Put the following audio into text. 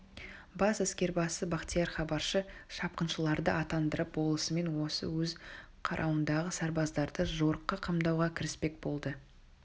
бас әскербасы бахтияр хабаршы шапқыншыларды аттандырып болысымен осы өз қарауындағы сарбаздарды жорыққа қамдауға кіріспек болды